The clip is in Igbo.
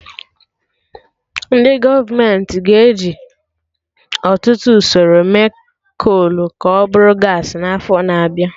Ndị gọọmenti ga-eji ọtụtụ usoro mee kol ka ọ bụrụ gaasị n'afọ na-abịa